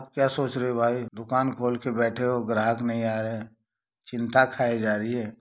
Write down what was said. क्या सोच रहे हो भाई दुकान खोल के बैठे हो ग्राहक नहीं आए चिंता खाए जा रही है।